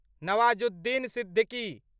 Nawazuddin Siddiqui